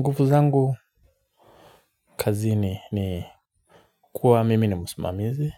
Nguvu zangu kazini ni kuwa mimi ni musimamizi.